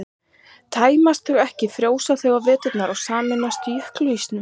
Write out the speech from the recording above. tæmist þau ekki frjósa þau á veturna og sameinast jökulísnum